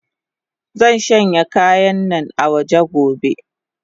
Zanshanya kayannan awaje gobe.